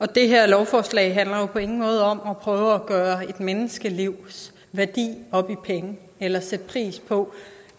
det her lovforslag handler jo på ingen måde om at prøve at gøre et menneskelivs værdi op i penge eller sætte pris på